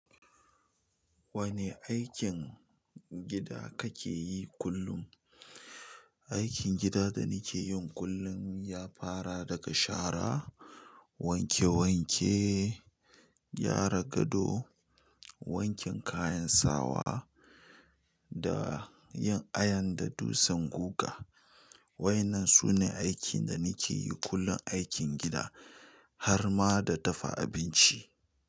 Wani aikin gida kake yi kullun? Aikin gida da nake yin kullum ya fara daga shara, wanke-wanke, gyara gado, wanke kayan sawa da yin iron da dutsen guga. Wa'yannan sune aiki da nake yi kullun aikin gida har ma da dafa abinci.